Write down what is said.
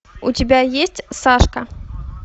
у тебя есть сашка